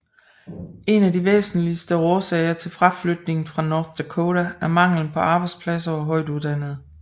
En af de væsentligste årsager til fraflytningen fra North Dakota er mangelen på arbejdspladser til højtuddannede